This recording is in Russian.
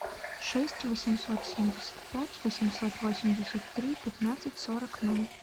шесть восемьсот семьдесят пять восемьсот восемьдесят три пятнадцать сорок ноль